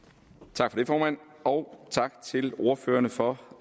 tak for det formand og tak til ordførerne for